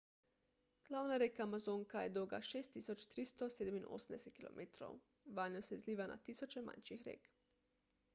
glavna reka amazonka je dolga 6387 km 3980 milj. vanjo se izliva na tisoče manjših rek